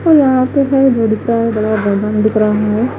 और यहां पे हुआ बड़ा बैलून दिख रहा है।